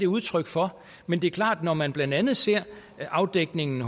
udtryk for men det er klart når man blandt andet ser afdækningen